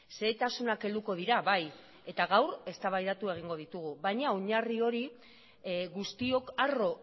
xehetasunak helduko dira bai eta gaur eztabaidatu egingo ditugu baina oinarri hori guztiok arro